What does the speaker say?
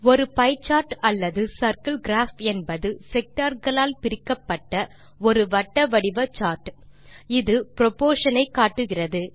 ஒரு pie chart அல்லது circle graph என்பது sectorகளாக பிரிக்கப்பட்ட ஒரு வட்ட வடிவ சார்ட் இது புரொப்போர்ஷன் ஐ காட்டுகிறது